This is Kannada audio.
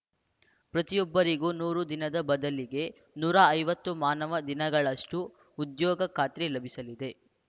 ಪ್ರತಿಯೊಬ್ಬರಿಗೂ ನೂರು ದಿನದ ಬದಲಿಗೆ ನೂರ ಐವತ್ತು ಮಾನವ ದಿನಗಳಷ್ಟುಉದ್ಯೋಗ ಖಾತ್ರಿ ಲಭಿಸಲಿದೆ